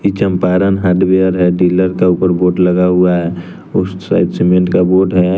की चंपारण हार्डवेयर है डीलर का ऊपर बोर्ड लगा हुआ है उस साइड सीमेंट का बोट है।